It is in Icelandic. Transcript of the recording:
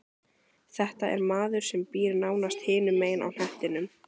Þetta er maður sem býr nánast hinum megin á hnettinum.